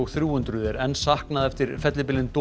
hundruð er enn saknað eftir fellibylinn